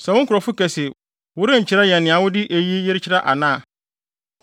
“Sɛ wo nkurɔfo ka se, worenkyerɛ yɛn nea wode eyi kyerɛ ana a,